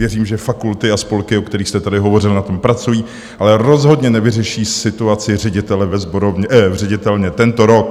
Věřím, že fakulty a spolky, o kterých jste tady hovořil, na tom pracují, ale rozhodně nevyřeší situaci ředitele v ředitelně tento rok.